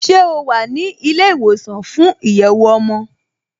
Ṣé o wà ní ilé ìwòsàn fún ìyẹ̀wò ọmọ?